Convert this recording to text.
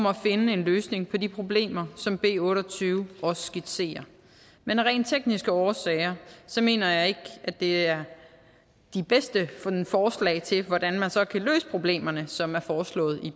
at finde en løsning på de problemer som b otte og tyve også skitserer men af rent tekniske årsager mener jeg ikke at det er de bedste forslag til hvordan man så kan løse problemerne som er foreslået i